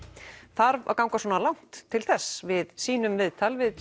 þarf að ganga svona langt til þess við sýnum viðtal við